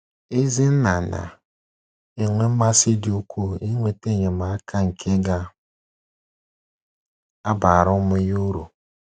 Ezi nna na - enwe mmasị dị ukwuu inweta enyemaka nke ga - abara ụmụ ya uru.